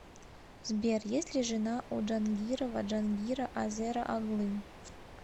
сбер есть ли жена у джангирова джангира азера оглы